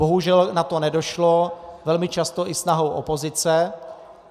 Bohužel na to nedošlo, velmi často i snahou opozice.